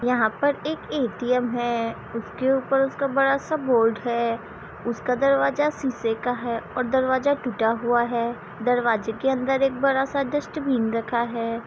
यहाँ पर एक ए.टी.एम. है उसके ऊपर उसका बड़ा सा बोर्ड है उसका दरवाज़ा शीशे का है और दरवाज़ा टुटा हुआ है दरवाज़े के अन्दर एक बड़ा सा डस्टबिन रखा है।